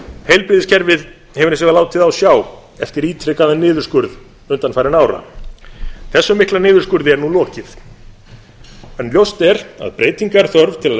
heilbrigðiskerfið hefur hins vegar látið á sjá eftir ítrekaðan niðurskurð undanfarinna ára þessum mikla niðurskurði er nú lokið en ljóst er að breytinga er þörf til að